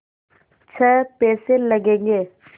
छः पैसे लगेंगे